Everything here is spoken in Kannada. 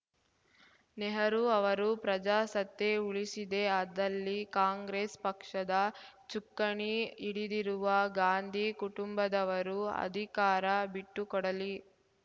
ನೆಹರು ಅವರು ಪ್ರಜಾಸತ್ತೆ ಉಳಿಸಿದೇ ಆದಲ್ಲಿ ಕಾಂಗ್ರೆಸ್‌ ಪಕ್ಷದ ಚುಕ್ಕಾಣಿ ಹಿಡಿದಿರುವ ಗಾಂಧಿ ಕುಟುಂಬದವರು ಅಧಿಕಾರ ಬಿಟ್ಟುಕೊಡಲಿ